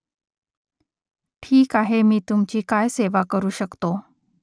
ठीक आहे मी तुमची काय सेवा करू शकतो ?